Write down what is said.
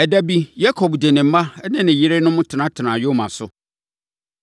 Ɛda bi, Yakob de ne mma ne ne yerenom tenatenaa nyoma so.